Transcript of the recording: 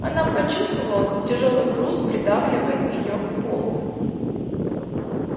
она почувствовала как тяжёлый груз придавливает её к полу